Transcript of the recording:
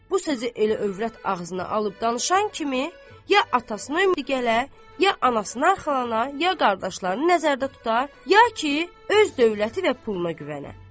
Bu sözü elə övrət ağzına alıb danışan kimi ya atasına ümid eləyə, ya anasına arxalana, ya qardaşlarını nəzərdə tuta, ya ki, öz dövləti və puluna güvənə.